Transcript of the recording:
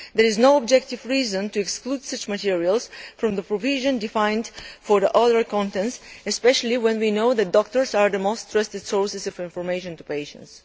There is no objective reason to exclude such materials from the provision covering other contents, especially when we know that doctors are the most trusted sources of information to patients.